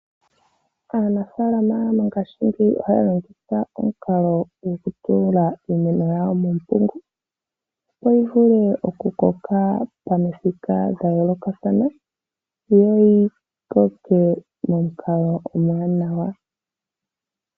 Aanafaalama mongashingeyi ohaya longitha omukalo gokutula iimeno yawo muumpungu, opo yi vule okukoka pamithika dha yoolokathana yo yi koke momukalo omwaanawa.